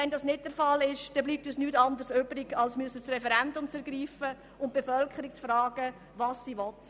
Wenn das nicht der Fall ist, bleibt uns nichts anderes übrig, als das Referendum zu ergreifen und die Bevölkerung zu befragen, was sie will.